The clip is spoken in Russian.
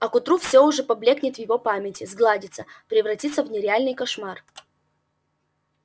а к утру все уже поблёкнет в его памяти сгладится превратится в нереальный кошмар